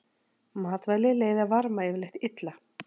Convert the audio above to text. Matvæli leiða varma yfirleitt illa.